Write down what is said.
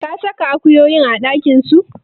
Ka saka akuyoyin a ɗakin su?